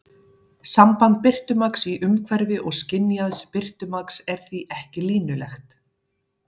Samband birtumagns í umhverfi og skynjaðs birtumagns er því ekki línulegt.